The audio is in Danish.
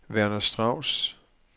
Werner Strauss